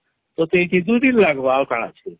ତତେ ୨ ୩ ଦିନ ଲାଗବା ଆଉ କାଣା ଅଛେ